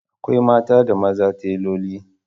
Akwai mata da maza teloli